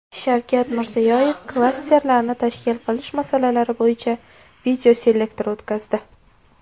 Shavkat Mirziyoyev klasterlarni tashkil qilish masalalari bo‘yicha videoselektor o‘tkazdi.